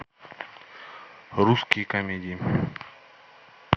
русские комедии